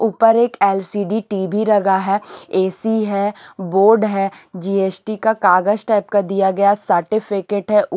ऊपर एक LCD TV लगा है ए_सी है बोर्ड है जी_एस_टी का कागज टाइप का दिया गया सर्टिफिकेट है।